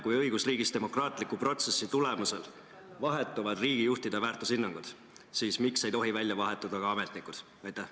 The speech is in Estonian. Kui õigusriigis demokraatliku protsessi tulemusel vahetuvad riigijuhtide väärtushinnangud, siis miks ei tohi välja vahetuda ka ametnikud?